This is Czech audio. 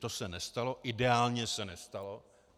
To se nestalo, ideálně se nestalo.